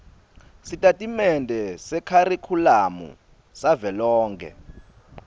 sitatimende sekharikhulamu savelonkhe